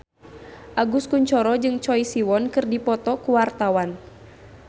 Agus Kuncoro jeung Choi Siwon keur dipoto ku wartawan